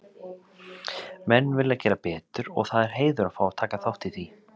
Menn vilja gera betur og það er heiður að fá að taka þátt í því,